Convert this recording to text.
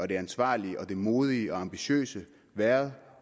det ansvarlige det modige og det ambitiøse været